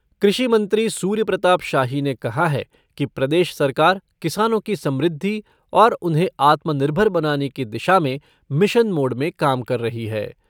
कृषि मंत्री सूर्य प्रताप शाही ने कहा है कि प्रदेश सरकार किसानों की समृद्धि और उन्हें आत्मनिर्भर बनाने की दिशा में मिशन मोड में काम कर रही है।